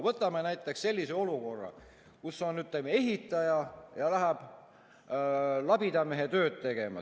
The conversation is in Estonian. Võtame näiteks sellise olukorra, kus ehitaja läheb labidamehe tööd tegema.